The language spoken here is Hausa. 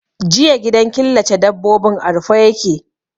Jiya gidan killace dabbobin a rufe ya ke.